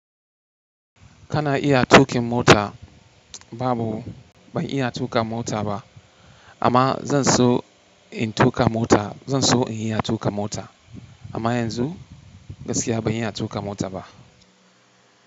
Kana iya tuƙin mota? Babu, ban iya tuƙa mota ba amma zan so in tuƙa mota. Zan so in iya tuƙa mota amma yanzu gaskiya ban iya tuƙa mota ba.